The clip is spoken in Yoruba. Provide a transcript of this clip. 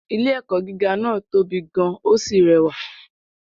Ilé-ẹ̀kọ́ gíga náà tóbi gan-an ó sì rẹwà.